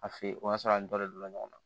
A fe yen o y'a sɔrɔ an dɔlen don ɲɔgɔn na